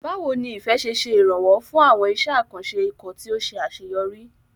Báwo ni Ife ṣe ṣe ìrànwọ́ fún àwọn iṣẹ́ àkànṣe ikọ̀ tí ó ṣe àṣeyọrí?